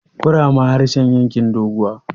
kurama harshen yankin doguwa